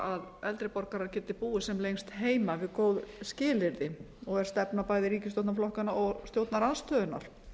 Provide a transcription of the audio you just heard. að eldri borgarar geti búið sem lengst heima við góð skilyrði og er stefna bæði ríkisstjórnarflokkanna og stjórnarandstöðunnar